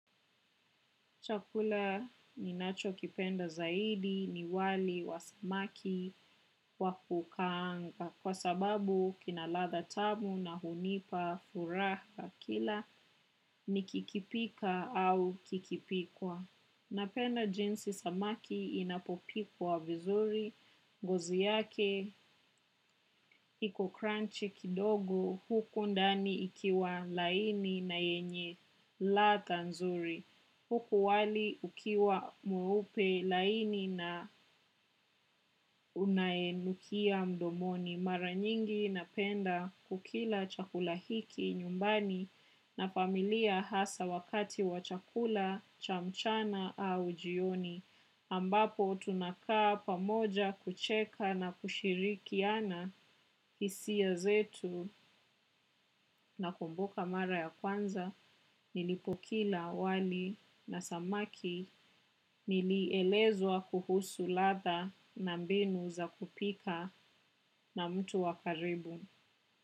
Chakula ni nacho kipenda zaidi ni wali wa samaki wakukaanga kwa sababu kinaladha tamu na hunipa furaha kila ni kikipika au kikipikwa. Napenda jinsi samaki inapopikwa vizuri, ngozi yake, iko crunchy kidogo huku ndani ikiwa laini na yenye ladha nzuri, huku wali ukiwa mweupe laini na unaenukia mdomoni. Mara nyingi napenda kukila chakulahiki nyumbani na familia hasa wakati wa chakula, cha mchana au jioni. Ambapo tunakaa pamoja kucheka na kushirikiana hisia zetu na kumbuka mara ya kwanza. Nilipokula wali na samaki nilielezwa kuhusu ladha na mbinu za kupika na mtu wakaribu.